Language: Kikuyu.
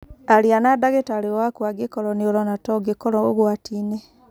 Aria na ndagĩtarĩ waku angĩkorũo nĩ ũrona ta ũngĩkorũo ũgwati-inĩ